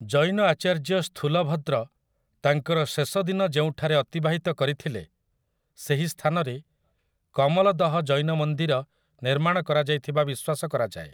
ଜୈନ ଆଚାର୍ଯ୍ୟ ସ୍ଥୂଲଭଦ୍ର ତାଙ୍କର ଶେଷ ଦିନ ଯେଉଁଠାରେ ଅତିବାହିତ କରିଥିଲେ ସେହି ସ୍ଥାନରେ କମଲଦହ ଜୈନ ମନ୍ଦିର ନିର୍ମାଣ କରାଯାଇଥିବା ବିଶ୍ୱାସ କରାଯାଏ ।